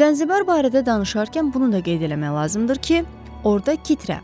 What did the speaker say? Zənzibar barədə danışarkən bunu da qeyd eləmək lazımdır ki, orda kitrə,